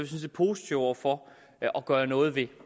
set positive over for at gøre noget ved